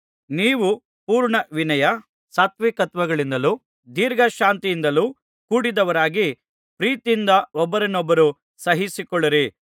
ನೀವು ಪೂರ್ಣ ವಿನಯ ಸಾತ್ವಿಕತ್ವಗಳಿಂದಲೂ ದೀರ್ಘಶಾಂತಿಯಿಂದಲೂ ಕೂಡಿದವರಾಗಿ ಪ್ರೀತಿಯಿಂದ ಒಬ್ಬರನ್ನೊಬ್ಬರು ಸಹಿಸಿಕೊಳ್ಳಿರಿ